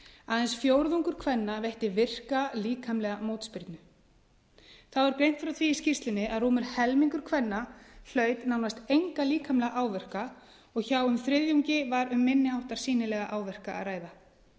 aðeins fjórðungur kvenna veitti virka líkamlega mótspyrnu þá er greint frá því í skýrslunni að rúmur helmingur kvenna hlaut nánast enga líkamlega áverka og hjá um þriðjungi var um minni háttar sýnilega áverka að ræða